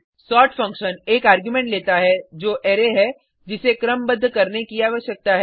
sort function एक argument लेता है जो अरै है जिसे क्रमबद्ध करने की आवश्यकता है